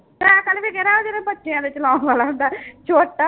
cycle ਵੀ ਜਿਹੜਾ ਉਹ ਜਿਹੜਾ ਬੱਚਿਆਂ ਦੇ ਚਲਾਉਣ ਵਾਲਾ ਹੁੰਦਾ ਹੈ ਛੋਟਾ